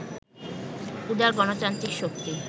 উদার গণতান্ত্রিক শক্তি